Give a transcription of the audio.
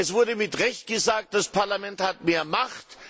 Es wurde mit Recht gesagt Das Parlament hat mehr Macht.